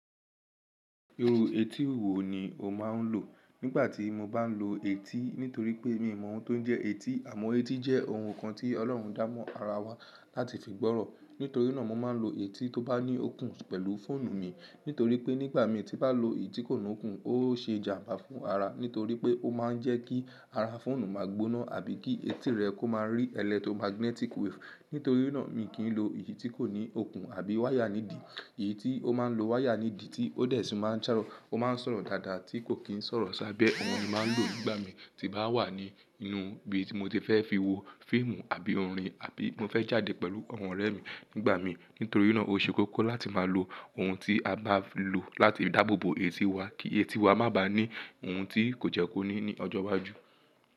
Irú etí wo ni o máa ń lò? Nígbà tí mo bá n lo etí, nítorí pé mi ò mọ oun tó ń jẹ́ etí, àmọ́ etí jẹ́ oun kan tí Ọlọ́run dámọ̀ ara wa láti fi gbọ́rọ̀. Nítorí náà, mo máa ń lo etí tó bá ní okùn pẹ̀lú fóònù mi, nítorí pé nígbà mí tí bá lo èyí tí kò ní okùn, ó ṣe èjàǹbá fún ara, nítorí pé ó máa ń jẹ́ kí ara fóònù máa gbóná àbí kí etí rẹ kó máa rí electromagnetic wave. Nítorí náà, mi kì í lo èyí tí kò ní okùn àbí wáyà nídì. Èyí tí ó máa ń lo wáyà nídì tí ó dẹ̀ sí máa ń sọ̀rọ̀ dáadáa tí kò kì í sọ̀rọ̀ sábẹ́. Àwọn ènìyàn máa ń lò ó nígbà mí tí bá wà ní inú ibi tí mo ti fẹ́ fi wo fíìmù àbí orin àbí mo fẹ́ jáde pẹ̀lú àwọn ọ̀rẹ́ mi nígbà mí. Nítorí náà ó ṣe kókó láti máa lo oun tí a bá lò láti dáàbò bo etí wa kí etí wa má bà á ní oun tí kò jẹ́ kó ní ní ọjọ́ iwájú.